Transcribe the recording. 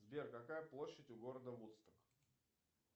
сбер какая площадь у города вудсток